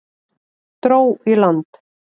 Dró í land